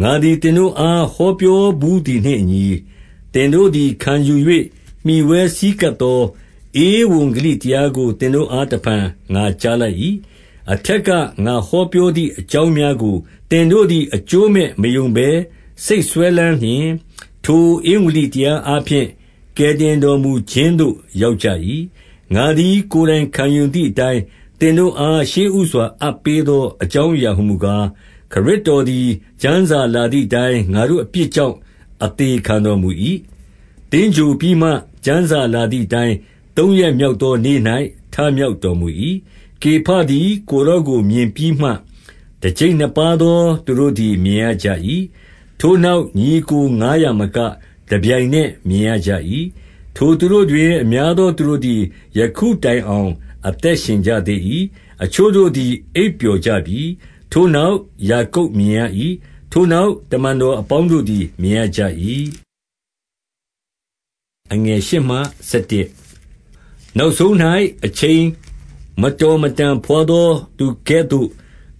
ငါသည်သင်တို့အား ဟောပြော ဘူးသည်နှင့်အညီ၊ သင်တို့သည် ခံယူ၍ မှီဝဲဆည်းကပ် သော ဧဝံဂေလိတရားကို သင်တို့အား တဖန် ငါကြား လိုက်၏။ 2 အထက်ကငါဟောပြောသည် အကြောင်းများကို သင်တို့သည် အကျိုးမဲ့မယုံဘဲစိတ်စွဲလမ်းလျှင်၊ ထိုဧဝံ ဂေလိတရားအားဖြင့် ကယ်တင်တော်မူခြင်းသို့ ရောက်ကြ၏။ 3 ငါသည် ကိုယ်တိုင်ခံယူသည်အတိုင်း၊ သင်တို့အား ရှေ့ဦးစွာ အပ်ပေးသောအကြောင်းအရာဟူမူကား၊ ခရစ်တော်သည် ကျမ်းစာလာသည်အတိုင်း ငါတို့အပြစ်ကြောင့် အသေခံတော်မူ၏။ 4 သင်္ဂြိုဟ်ပြီးမှ၊ ကျမ်းစာလာသည်အတိုင်း သုံးရက်မြောက်သောနေ့၌ ထမြောက်တော်မူ၏။ 5 ကေဖသည်ကိုယ်တော်ကို မြင်ပြီးမှ၊ တကျိပ်နှစ်ပါးသော သူတို့သည် မြင်ရကြ၏။ 6 ထိုနောက် ညီအစ်ကိုငါးရာမက၊ တပြိုင်နက် မြင်ရကြ၏။ ထိုသူတို့တွင် အများသောသူတို့သည် ယခု တိုင်အောင် အသက်ရှင်ကြသေး၏။ အချို့တို့သည် အိပ်ပျော်ကြပြီ။ 7 ထိုနောက် ယာကုပ်မြင်ရ၏။ ထိုနောက် တမန် တော်အပေါင်းတို့သည် မြင်ရကြ၏။ 8 နောက်ဆုံး၌ အချိန်မတော်မတန်ဘွားသော သူကဲ့သို့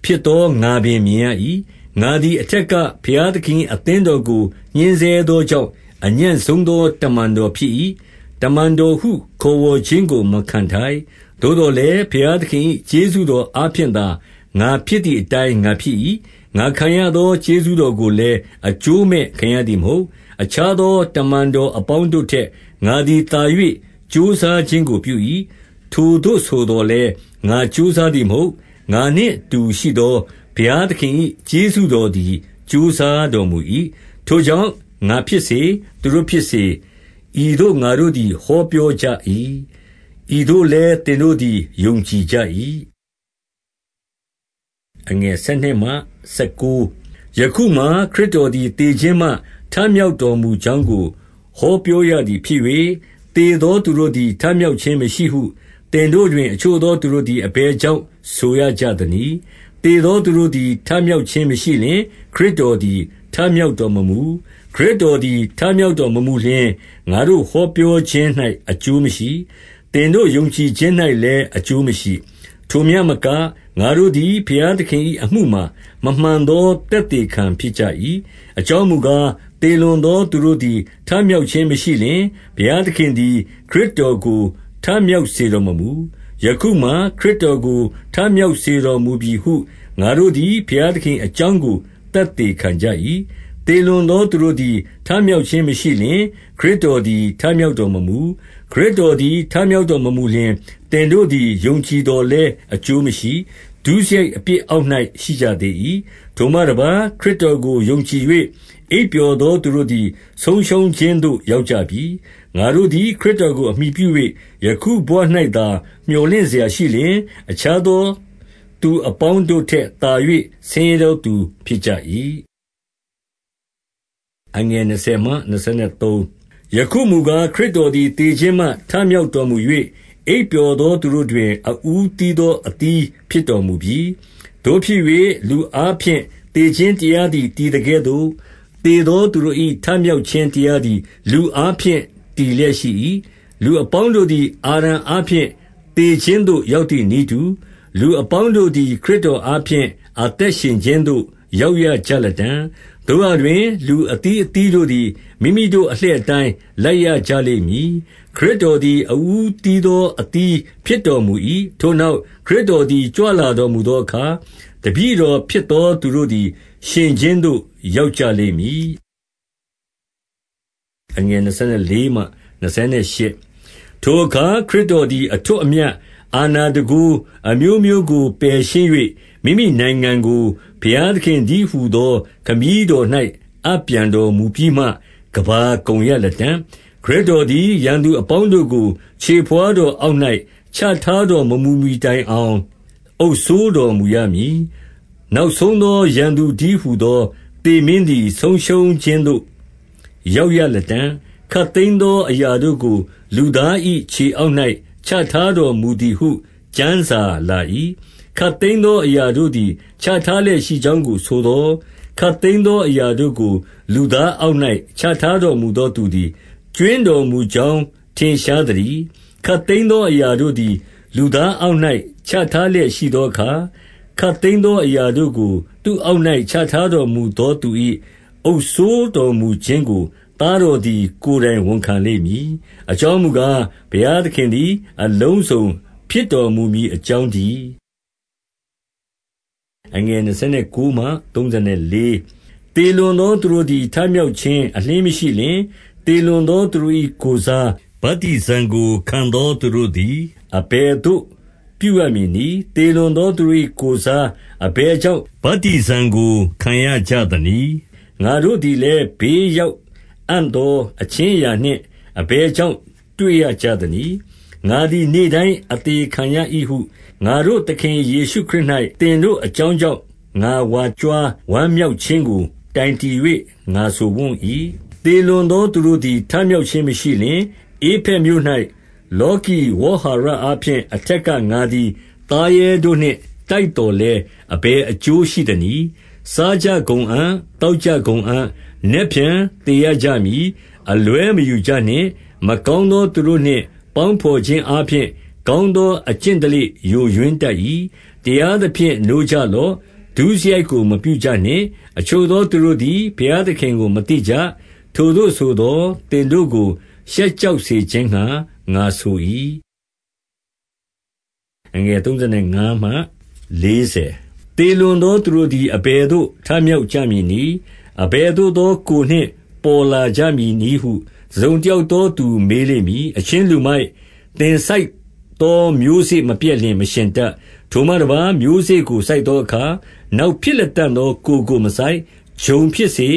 ဖြစ်သော ငါပင်မြင်ရ၏။ 9 ငါသည် အထက်ကဘုရားသခင်၏ အသင်းတော်ကို ညှဉ်းဆဲသောကြောင့်၊ အညံ့ဆုံးသော တမန် တော်ဖြစ်၏။ တမန်တော်ဟု ခေါ်ဝေါ်ခြင်းကို မခံထိုက်။ 10 သို့သော်လည်း ဘုရားသခင်၏ ကျေးဇူးတော်အားဖြင့်သာ ငါဖြစ်သည်အတိုင်း ငါဖြစ်၏။ ငါခံရသော ကျေးဇူးတော်ကိုလည်း အကျိုးမဲ့ခံရသည်မဟုတ်။ အခြား သော တမန်တော်အပေါင်းတို့ထက်၊ ငါသည် သာ၍ ကြိုးစားခြင်းကိုပြု၏။ ထိုသို့ဆိုသော်လည်း၊ ငါကြိုးစားသည်မဟုတ်။ ငါနှင့်အတူရှိသော ဘုရားသခင်၏ ကျေးဇူး တော်သည် ကြိုးစားတော်မူ၏။ 11 ထိုကြောင့်၊ ငါဖြစ်စေ၊ သူတို့ဖြစ်စေ၊ ဤသို့ ငါတို့သည် ဟောပြောကြ၏။ ဤသို့လည်းသင်တို့သည် ယုံကြည်ကြ၏။ 12 ယခုမှာ၊ ခရစ်တော်သည် သေခြင်းမှ ထမြောက် တော်မူကြောင်းကို ဟောပြောရသည်ဖြစ်၍၊ သေသော သူတို့သည် ထမြောက်ခြင်းမရှိဟု သင်တို့တွင် အချို့သောသူတို့သည် အဘယ်ကြောင့် ဆိုရကြသနည်း။ 13 သေသောသူတို့သည် ထမြောက်ခြင်းမရှိလျှင်၊ ခရစ်တော်သည် ထမြောက်တော်မမူ။ 14 ခရစ်တော်သည် ထမြောက်တော်မမူလျှင်၊ ငါတို့ ဟောပြောခြင်း၌ အကျိုးမရှိ သင်တို့ယုံကြည်ခြင်း၌လည်း အကျိုးမရှိ။ 15 ထိုမျှမက၊ ငါတို့သည် ဘုရားသခင်၏အမှုမှာ မမှန်သော သက်သေခံဖြစ်ကြ၏။ 16 အကြောင်းမူကား၊ သေလွန်သောသူတို့သည် ထမြောက်ခြင်းမရှိလျှင်၊ ဘုရားသခင်သည် ခရစ်တော်ကို ထမြောက်စေတော်မမူ၊ ယခုမှာ၊ ခရစ်တော်ကို ထမြောက် စေတော်မူပြီဟု ငါတို့သည် ဘုရားသခင်၏အကြောင်းကို သက်သေခံကြ၏။ သေလွန်သောသူတို့သည် ထမြောက် ခြင်းမရှိလျှင်၊ ခရစ်တော်သည် ထမြောက်တော်မမူ။ 17 ခရစ်တော်သည် ထမြောက်တော်မမူလျှင်၊ သင်တို့သည် ယုံကြည်သော်လည်း အကျိုးမရှိ၊ ဒုစရိုက် အပြစ်အောက်၌ ရှိကြသေး၏။ 18 ထိုမှတပါး၊ ခရစ်တော်ကို ယုံကြည်၍ အိပ်ပျော် သောသူတို့သည် ဆုံးရှုံးခြင်းသို့ရောက်ကြပြီ။ 19 ငါတို့သည် ခရစ်တော်ကို အမှီပြု၍ ယခုဘဝ ၌သာ မြော်လင့်စရာရှိလျှင်၊ အခြားသော သူအပေါင်းတို့ ထက်သာ၍ ဆင်းရဲသောသူ ဖြစ်ကြ၏။ 20 ယခုမူကား၊ ခရစ်တော်သည် သေခြင်းမှ ထမြောက်တော်မူ၍၊ အိပ်ပျော်သောသူတို့တွင် အဦးသီး သော အသီးဖြစ်တော်မူပြီ။ 21 သို့ဖြစ်၍ လူအားဖြင့် သေခြင်းတရားသည် တည်သကဲ့သို့၊ သေသောသူတို့၏ ထမြောက်ခြင်းတရား သည် လူအားဖြင့် တည်လျက်ရှိ၏။ 22 လူအပေါင်းတို့သည် အာဒံအားဖြင့်သေခြင်းသို့ ရောက်သည်နည်းတူ၊ လူအပေါင်းတို့သည် ခရစ်တော်အား ဖြင့် အသက်ရှင်ခြင်းသို့ ရောက်ရကြလတံ့။ 23 သို့ရာတွင် လူအသီးအသီးတို့သည် မိမိတို့ အလှည့်အတိုင်း လိုက်ရကြလိမ့်မည်။ ခရစ်တော်သည် အဦးအသီးသော အသီးဖြစ်တော်မူ၏၊ ခရစ်တော်သည် ကြွလာတော်မူသောအခါ၊ တပည့်တော်ဖြစ်သော သူတို့ သည် ရှင်ခြင်းသို့ ရောက်ကြလိမ့်မည်။ 24 ထိုအခါ ခရစ်တော်သည် အထွဋ်အမြတ် အာဏာတန်ခိုးအမျိုးမျိုးကို ပယ်ရှင်း၍၊ မိမိနိုင်ငံကို ဘုရားသခင်တည်းဟူသော ခမည်းတော်၌ အပ်ပြန်တော် မူပြီးမှ ကမ္ဘာကုန်ရလတံ့။ 25 ခရစ်တော်သည် ရန်သူအပေါင်းတို့ကို ခြေဘဝါး တော်အောက်၌ ချထားတော်မမူမှီတိုင်အောင် အုပ်စိုး တော်မူရမည်။ 26 နောက်ဆုံးသော ရန်သူတည်းဟူသော သေမင်းသည် ဆုံးရှုံးခြင်းသို့ ရောက်ရလတံ့။ 27 ခပ်သိမ်းသောအရာတို့ကို လူသား၏ ခြေအောက်၌ ချထားတော်မူသည်ဟု ကျမ်းစာလာ၏။ ခပ်သိမ်းသောအရာတို့သည် ချထားလျက်ရှိကြောင်းကို ဆိုသော်၊ ခပ်သိမ်းသောအရာတို့ကို လူသားအောက်၌ ချထား တော်မူသောသူသည် ကြွင်းတော်မူကြောင်း ထင်ရှားသတည်း။ 28 ခပ်သိမ်းသော အရာတို့သည် လူသားအောက်၌ ချထားလျက် ရှိသောအခါ၊ ခပ်သိမ်းသောအရာတို့ကို သူ့အောက်၌ ချထားတော်မူသော သူ၏ အုပ်စိုးတော်မူခြင်းကို သားတော်သည် ကိုယ်တိုင်ဝန်ခံလိမ့်မည်။ အကြောင်းမူကား၊ ဘုရားသခင်သည် အလုံးစုံ ဖြစ်တော်မူမည် အကြောင်းတည်း။ 29 သေလွန်သောသူတို့သည် ထမြောက်ခြင်း အလျှင်းမရှိလျှင်၊ သေလွန်သော သူတို့၏ ကိုယ်စား ဗတ္တိဇံကိုခံသော သူတို့သည် အဘယ်သို့ ပြုရမည်နည်း။ သေလွန်သော သူတို့၏ကိုယ်စား အဘယ်ကြောင့် ဗတ္တိဇံ ကို ခံရကြသနည်း။ 30 ငါတို့သည်လည်း ဘေးရောက်အံ့သော အခြင်း အရာနှင့် အဘယ်ကြောင့် တွေ့ရကြသနည်း။ 31 ငါသည် နေ့တိုင်းအသေခံရ၏ဟု ငါတို့သခင် ယေရှုခရစ်၌ သင်တို့အကြောင်းကြောင့် ငါဝါကြွား ဝမ်းမြောက်ခြင်းကို တိုင်တည်၍ ငါဆိုဝံ့၏။ 32 သေလွန်သောသူတို့သည် ထမြောက်ခြင်း မရှိလျှင်၊ ဧဖက်မြို့၌ လောကီဝေါဟာရအားဖြင့်၊ အထက် က ငါသည်သားရဲတို့နှင့် တိုက်သော်လည်း၊ အဘယ် အကျိုးရှိသနည်း။ စားကြကုန်အံ့၊ သောက်ကြကုန်အံ့၊ နက်ဖြန်သေရကြမည်။ 33 အလွဲမယူကြနှင့်။ မကောင်းသော သူတို့နှင့် ပေါင်းဘော်ခြင်းအားဖြင့် ကောင်းသော အကျင့်ဓလေ့ ယိုယွင်းတတ်၏။ 34 တရားသဖြင့် နိုးကြလော့။ ဒုစရိုက်ကိုမပြုကြနှင့်။ အချို့သော သူတို့သည် ဘုရားသခင်ကို မသိကြ။ ထိုသို့ဆိုသော်၊ သင်တို့ကို ရှက်ကြောက်စေခြင်းငှါ ငါဆို၏။ 35 သေလွန်သောသူတို့သည် အဘယ်သို့ ထမြောက်ကြမည်နည်း။ အဘယ်သို့သော ကိုယ်နှင့်ပေါ်လာကြမည် နည်းဟု တစုံတယောက်သောသူ မေးလိမ့်မည်။ 36 အချင်းလူမိုက်၊ သင်စိုက်သောမျိုးစေ့မပျက်လျှင် မရှင်တတ်။ 37 ထိုမှတပါး မျိုးစေ့ကို စိုက်သောအခါ၊ နောက် ဖြစ်လတံ့သော ကိုယ်ကိုမစိုက်၊ ဂျုံစပါးဖြစ်စေ၊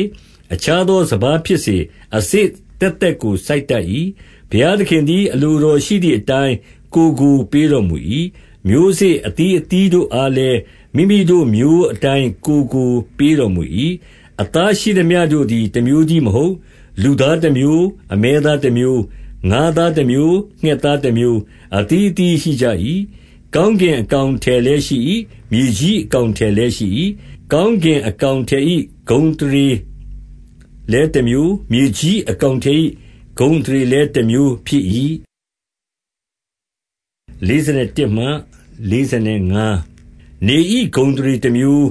အခြား သောစပါးဖြစ်စေ၊ အစေ့သက်သက်ကို စိုက်တတ်၏။ 38 ဘုရားသခင်သည် အလိုတော်ရှိသည်အတိုင်း ကိုယ်ကို ပေးတော်မူ၏။ မျိုးစေ့အသီးအသီးတို့အား လည်း၊ မိမိတို့မျိုးအတိုင်း ကိုယ်ကိုပေးတော်မူ၏။ 39 အသားရှိသမျှတို့သည် တမျိုးတည်းမဟုတ်။ လူသားတမျိုး၊ အမဲသားတမျိုး၊ ငါးသားတမျိုး၊ ငှက်သား တမျိုး၊ အသီးအသီးရှိကြ၏။ 40 ကောင်းကင်အကောင်အထည်လည်းရှိ၏။ မြေကြီးအကောင်အထည်လည်းရှိ၏။ ကောင်းကင် အကောင်အထည်၏ ဂုဏ်အသရေလည်းတမျိုး၊ မြေကြီး အကောင်အထည်၏ ဂုဏ်အသရေလည်းတမျိုးဖြစ်၏။ 41 နေ၏ဂုဏ်အသရေတမျိုး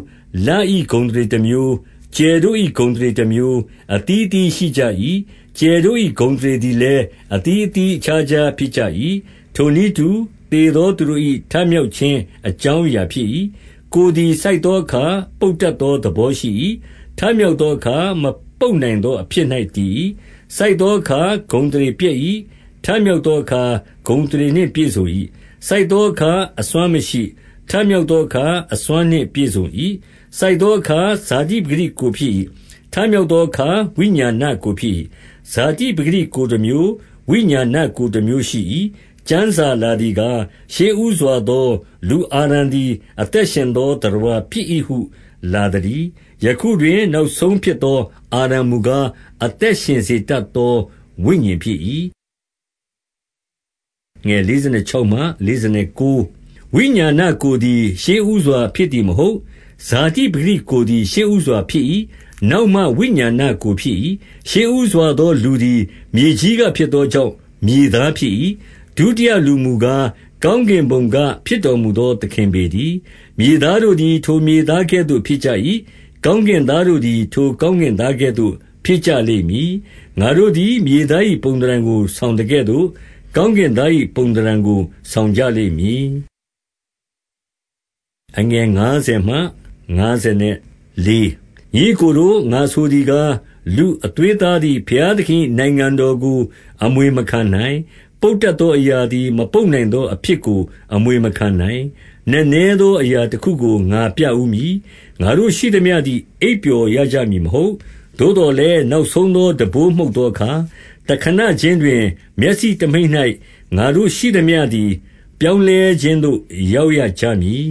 ၊ လ၏ဂုဏ်အသရေတမျိုး၊ ကြယ်တို့၏ ဂုဏ်အသရေတမျိုးအသီးအသီး ရှိကြ၏။ ကြယ်တို့၏ ဂုဏ်အသရေသည်လည်း အသီးသီး အခြားခြား ဖြစ်ကြ၏။ 42 ထိုနည်းတူ၊ သေသောသူတို့၏ ထမြောက်ခြင်း အကြောင်းအရာဖြစ်၏။ ကိုယ်သည်စိုက်သောအခါ၊ ပုပ်တတ်သောသဘေရှိ၏။ ထမြောက်သောအခါ မပုပ် နိုင်သောအဖြစ်၌ တည်၏။ 43 စိုက်သောအခါဂုဏ်အသရေပျက်၏။ ထမြောက်သောအခါ ဂုဏ်အသရေနှင့် ပြည့်စုံ၏။ စိုက်သောအခါ အစွမ်းမရှိ။ ထမြောက်သောအခါ အစွမ်းနှင့်ပြည့်စုံ၏။ 44 စိုက်သောအခါ ဇာတိပကတိ ကိုယ်ဖြစ်၏။ ထမြောက်သောအခါ ဝိညာဏကိုယ်ဖြစ်၏။ ဇာတိပကတိ ကိုယ်တမျိုး၊ ဝိညာဏကိုယ်တမျိုးရှိ၏။ 45 ကျမ်းစာလာသည်ကား၊ ရှေ့ဦးစွာသော လူအာဒံသည် အသက်ရှင်သော သတ္တဝါဖြစ်၏ဟု လာသတည်း။ ယခုတွင်နောက်ဆုံးဖြစ်သော အာဒံမူကား၊ အသက်ရှင် စေတတ်သော ဝိညာဉ်ဖြစ်၏။ 46 ဝိညာဏကိုယ်သည် ရှေ့ဦးစွာဖြစ်သည်မဟုတ်၊ ဇာတိပကတိကိုယ်သည် ရှေ့ဦးစွာဖြစ်၏။ နောက်မှ ဝိညာဏကိုယ်ဖြစ်၏။ 47 ရှေ့ဦးစွာသော လူသည်မြေကြီးကဖြစ်သော ကြောင့် မြေသားဖြစ်၏။ ဒုတိယလူမူကား၊ ကောင်းကင် ဘုံက ဖြစ်တော်မူသော သခင်ပေတည်း။ 48 မြေသားတို့သည် ထိုမြေသားကဲ့သို့ ဖြစ်ကြ၏။ ကောင်းကင်သားတို့သည် ထိုကောင်းကင်သားကဲ့သို့ ဖြစ်ကြလိမ့်မည်။ 49 ငါတို့သည် မြေသား၏ ပုံသဏ္ဌာန်ကို ဆောင်သကဲ့သို့၊ ကောင်းကင်သား၏ပုံသဏ္ဌာန်ကို ဆောင်ကြ လိမ့်မည်။ 50 ညီအစ်ကိုတို့၊ ငါဆိုသည်ကား၊ လူအသွေးအသားသည် ဘုရားသခင်၏နိုင်ငံတော်ကို အမွေမခံနိုင်၊ ပုပ်တတ်သောအရာသည် မပုပ်နိုင်သောအဖြစ်ကို အမွေမခံနိုင်။ 51 နက်နဲသော အရာတခုကိုငါပြဦးမည်။ ငါတို့ ရှိသမျှသည် အိပ်ပျော်ရကြမည်မဟုတ်။ 52 သို့သော်လည်း၊ နောက်ဆုံးသော တံပိုးမှုတ်သောအခါ၊ တခဏခြင်းတွင် မျက်စိတမှိတ်၌ ငါတို့ရှိသမျှ သည် ပြောင်းလဲခြင်းသို့ ရောက်ရကြမည်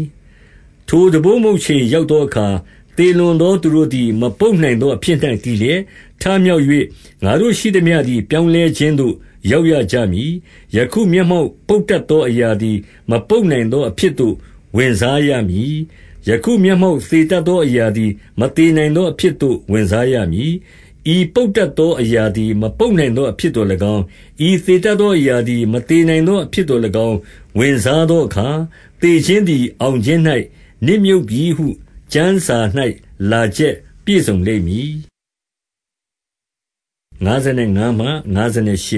။ ထိုတံပိုးမှုတ်ချိန်ရောက်သောအခါ၊ သေလွန်သောသူတို့သည်၊ မပုပ်နိုင် သောအဖြစ်၌ တည်လျက်ထမြောက်၍၊ ငါတို့ရှိသမျှသည် ပြောင်းလဲခြင်းသို့ ရောက်ရကြမည်။ 53 ယခုမျက်မှောက်ပုပ်တတ်သော အရာသည် မပုပ်နိုင်သောအဖြစ်သို့ ဝင်စားရမည်။ ယခုမျက်မှောက် သေတတ်သော အရာသည် မသေနိုင်သောအဖြစ်သို့ ဝင်စားရမည်။ 54 ဤပုပ်တတ်သောအရာသည် မပုပ်နိုင်သော အဖြစ်သို့၎င်း၊ ဤသေတတ်သောအရာသည် မသေနိုင် သောအဖြစ်သို့၎င်း၊ ဝင်စားသောအခါ၊ သေခြင်းသည် အောင်ခြင်း၌နစ်မြုပ်ပြီဟု ကျမ်းစာ၌လာချက်ပြည့် စုံလိမ့်မည်။ 55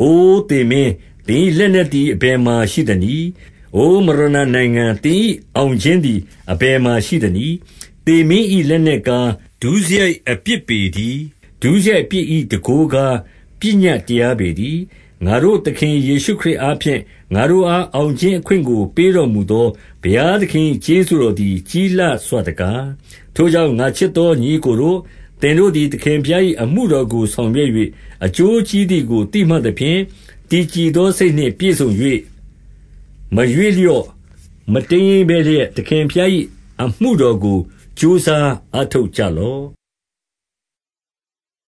အိုသေမင်း၊ သင်၏လက်နက်သည်၊ အဘယ်မှာ ရှိသနည်း။ အိုမရဏနိုင်ငံ၊ သင်၏အောင်ခြင်းသည် အဘယ်မှာရှိသနည်း။ 56 သေမင်း၏လက်နက်ကား၊ ဒုစရိုက်အပြစ်ပေတည်း။ ဒုစရိုက်အပြစ်၏ တန်ခိုးကား၊ ပညတ်တရား ပေတည်း။ 57 ငါတို့သခင် ယေရှုခရစ်အားဖြင့် ငါတို့အား အောင်ခြင်းအခွင့်ကို ပေးတော်မူသော ဘုရားသခင်၏ ကျေးဇူးတော်သည် ကြီးလှစွတကား။ 58 ထိုကြောင့် ငါချစ်သောညီအစ်ကိုတို့၊ သင်တို့သည် သခင်ဘုရား၏အမှုတော်ကို ဆောင်ရွက်၍ အကျိုး ကြီးသည်ကို သိမှတ်သဖြင့် တည်ကြည်သော စိတ်နှင့် ပြည့်စုံ၍၊ မရွေ့လျော့ မတိမ်းယိမ်းဘဲလျက်၊ သခင်ဘုရား ၏ အမှုတော်ကို ကြိုးစားအားထုတ်ကြလော့။